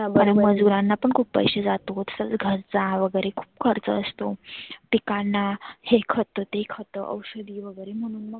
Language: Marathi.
मजुरांना पण खुप पैसे जातो. सगळ घरचा वगैरे खुप खर्च असतो. पिकांना हे खतं ते खतं औषधी वगैरे म्हणून.